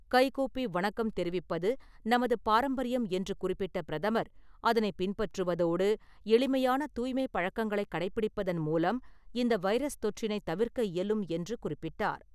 கைக்கூப்பி வணக்கம் தெரிவிப்பது நமது பாரம்பரியம் என்று குறிப்பிட்ட பிரதமர், அதனை பின்பற்றுவதோடு, எளிமையான தூய்மை பழக்கங்களை கடைபிடிப்பதன் மூலம் இந்த வைரஸ் தொற்றினை தவிர்க்க இயலும் என்று குறிப்பிட்டார்.